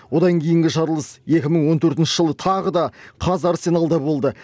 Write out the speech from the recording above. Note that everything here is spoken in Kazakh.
одан кейінгі жарылыс екі мың он төртінші жылы тағы да қазарсеналда болды